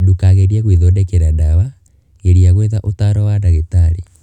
Ndũkagerie gwĩthondekera ndawa; geria gwetha ũtaaro wa ndagĩtarĩ.